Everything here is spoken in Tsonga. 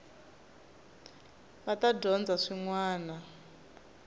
va ta dyondza swin wana